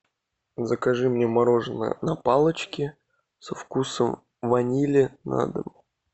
закажи мне мороженое на палочке со вкусом ванили на дом